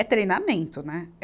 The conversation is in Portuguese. É treinamento, né?